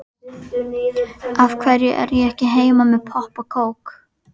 Af hverju er ég ekki heima með popp og kók?